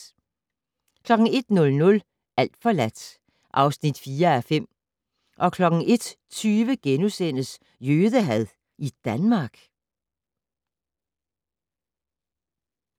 01:00: Alt forladt (4:5) 01:20: Jødehad i Danmark? *